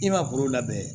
I ma foro labɛn